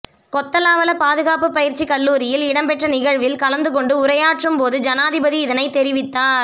கொத்தலாவல பாதுகாப்பு பயிற்சி கல்லூரியில் இடம்பெற்ற நிகழ்வில் கலந்துகொண்டு உரையாற்றும்போது ஜனாதிபதி இதனை தெரிவித்தார்